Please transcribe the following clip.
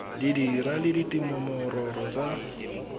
di dira le dinomoro tsa